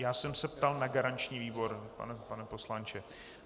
Já jsem se ptal na garanční výbor, pane poslanče.